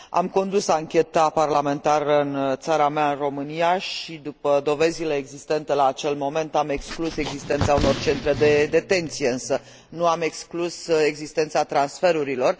Am condus ancheta parlamentară în țara mea, România, și, după dovezile existente la acel moment, am exclus existența unor centre de detenție, însă nu am exclus existența transferurilor.